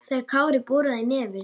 þegar Kári boraði í nefið.